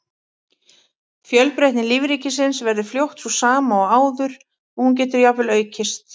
Fjölbreytni lífríkisins verður fljótt sú sama og áður og hún getur jafnvel aukist.